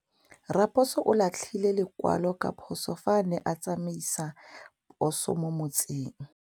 Raposo o latlhie lekwalô ka phosô fa a ne a tsamaisa poso mo motseng.